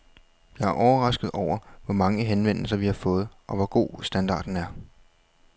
Jeg er overrasket over, hvor mange henvendelser vi har fået, og hvor god standarden er.